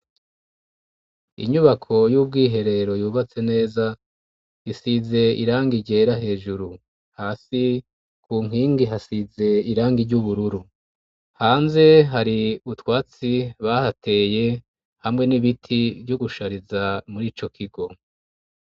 Inyubako y'ubwiherero yubatse neza, isize irangi ryera hejuru. Hasi ku nkingi hasize irangi ry'ubururu. Hanze hari utwatsi bahateye hamwe n'ibiti byo gushariza muri ico kigo.